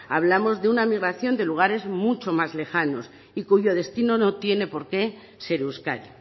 hablamos de una migración de lugares mucho más lejanos y cuyo destino no tiene por qué ser euskadi